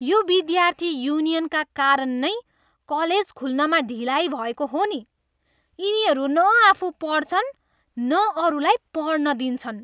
यो विद्यार्थी युनियनका कारण नै कलेज खुल्नमा ढिलाइ भएको हो नि। यिनीहरू न आफू पढ्छन्, न अरूलाई पढ्न दिन्छन्!